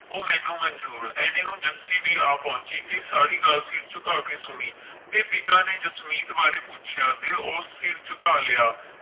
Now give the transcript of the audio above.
ਉਹ ਮੈਨੂੰ ਮੰਜੂਰ ਏਨੇ ਨੂੰ ਜੱਸੀ ਵੀ ਆ ਪਹੁੰਚੀ ਤੇ ਸਾਰੀ ਗੱਲ ਸਿਰ ਝੁਕਾ ਕੇ ਸੁਣੀ ਤੇ ਪਿਤਾ ਨੇ ਜਸਮੀਤ ਬਾਰੇ ਪੁੱਛਿਆ ਤੇ ਉਸ ਸਿਰ ਝੁਕਾ ਲਿਆ